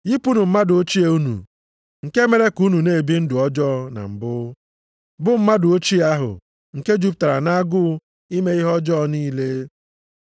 Yipụnụ mmadụ ochie unu, nke mere ka unu na-ebi ndụ ọjọọ na mbụ, bụ mmadụ ochie ahụ nke jupụtara nʼagụụ ime ihe ọjọọ niile,